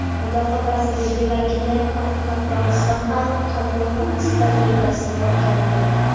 Mudofaa vazirligi vakillari Qoraqalpog‘iston Xalq qabulxonasi tajribasini o‘rgandi.